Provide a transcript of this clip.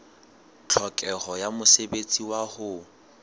tlhokeho ya mosebetsi wa ho